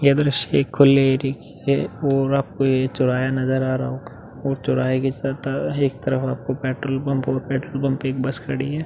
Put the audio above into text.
ये दृश्य एक खुले की है और आपको ये चौराहा नज़र आ रहा होगा। चौराहे एक तरफ आपको पेट्रोल पंप और पेट्रोल पंप में एक बस खड़ी है।